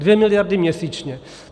Dvě miliardy měsíčně.